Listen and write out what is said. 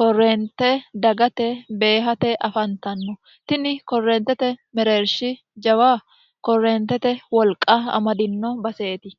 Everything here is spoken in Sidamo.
korreente dagate beehate afantanno tini korreentete mereershi jawa korreentete wolqa amadino baseeti